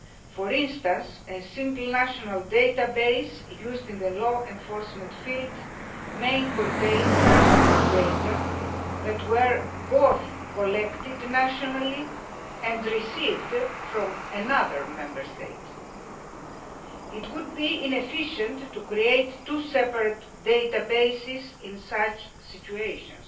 For instance, a single national database used in the law enforcement field may contain personal data that were both collected nationally and received from another Member State. It would be inefficient to create two separate databases in such situations